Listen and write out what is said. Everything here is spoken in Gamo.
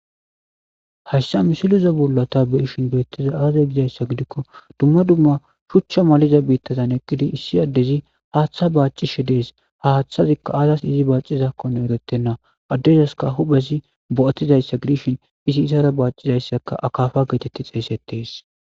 Hayssa misiloza bollata beishin geettiza aaza gizayssa gidikko dumma dumma shuchcha maliza biittazan eqqidi issi addezi haaththa baacishe dees ha haththazikka aazas izi baacizakkone erettenna addezaska huphesi bo'atizayssa gidishin izi izara baacizayssaka akafa geetetti xeesettees